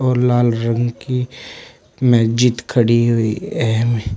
और लाल रंग की मस्जिद खड़ी हुई है यहां में।